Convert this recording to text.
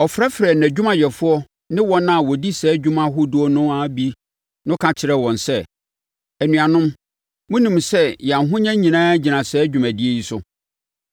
Ɔfrɛfrɛɛ nʼadwumayɛfoɔ no ne wɔn a wɔdi saa dwuma ahodoɔ no ara bi no ka kyerɛɛ wɔn sɛ, “Anuanom, monim sɛ yɛn ahonya nyinaa gyina saa dwumadie yi so.